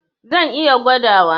Zan iya gwadawa.